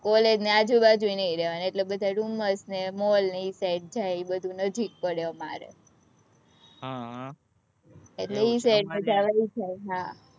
college ની આજુબાજુ ય નહીં રેવાનું, એટલે બધા ડુમસ ને mall ને એ side જાય, એ બધું નજીક પડે અમારે,